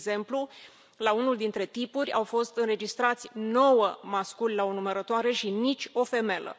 De exemplu, la unul dintre tipuri au fost înregistrați nouă masculi la o numărătoare și nicio femelă.